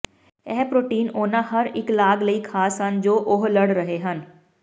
ਇਹ ਪ੍ਰੋਟੀਨ ਉਹਨਾਂ ਹਰ ਇੱਕ ਲਾਗ ਲਈ ਖਾਸ ਹਨ ਜੋ ਉਹ ਲੜ ਰਹੇ ਹਨ